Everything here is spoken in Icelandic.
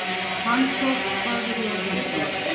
Fannþór, hvað er jörðin stór?